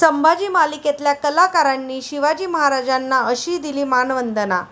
संभाजी' मालिकेतल्या कलाकारांनी शिवाजी महाराजांना अशी दिली मानवंदना